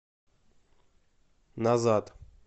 назад